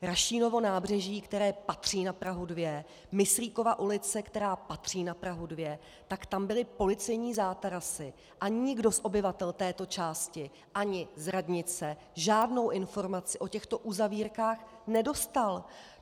Rašínovo nábřeží, které patří na Prahu 2, Myslíkova ulice, která patří na Prahu 2, tak tam byly policejní zátarasy a nikdo z obyvatel této části ani z radnice žádnou informaci o těchto uzavírkách nedostal.